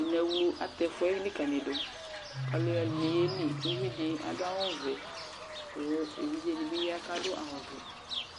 Ineɣlu atɛ ɛfʋ yɛ likǝlidu kʋ alʋɛdɩnɩ yeli Uvi dɩ adʋ awʋvɛ kʋ evidze dɩ bɩ ya kʋ adʋ awʋvɛ